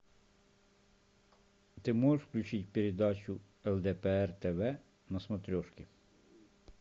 ты можешь включить передачу лдпр тв на смотрешке